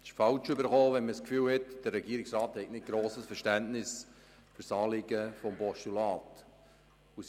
Es ist falsch herübergekommen, wenn man das Gefühl hat, der Regierungsrat habe kein grosses Verständnis für das Anliegen des Postulats.